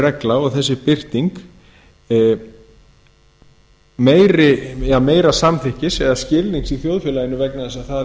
regla og þessi birting meira samþykkis eða skilnings í þjóðfélaginu vegna þess